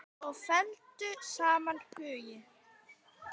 Og felldu saman hugi.